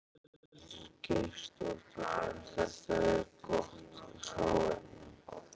Ingveldur Geirsdóttir: En þetta er gott hráefni?